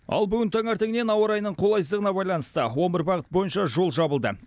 ал бүгін таңертеңнен ауа райының қолайсыздығына байланысты он бір бағыт бойынша жол жабылды